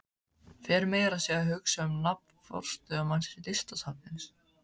Fer meira að segja að hugsa um nafn forstöðumanns Listasafnsins.